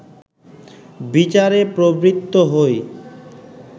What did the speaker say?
বিচারে প্রবৃত্ত হই